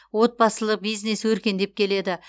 отбасылық бизнес өркендеп келеді